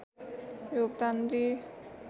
योगदान दिई